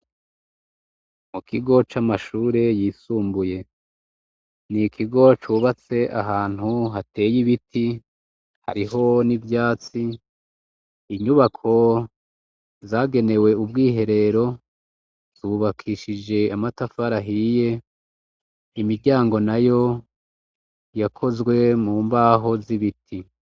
Mu kigo camashure yisumbuye nikigo cubatse ahantu hateye ibiti hariho nivyatsi. Inyubako zagenewe ubwiherero zubakishije amatafari ahiye imiryango nayo yakozwe mu mbaho zibiti.